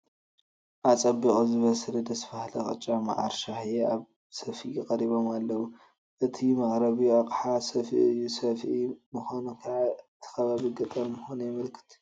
ኣፀቢቑ ዝበሰለ ደስ በሃሊ ቅጫ፣ መዓር፣ ሻሂ ኣብ ሰፍኢ ቀሪቦም ኣለዉ፡፡ እቲ መቕረቢ ኣቕሓ ሰፍኢ እዩ፡፡ ሰፍኢ ምዃኑ ከዓ እቲ ከባቢ ገጠር ምዃኑ የመልክት፡፡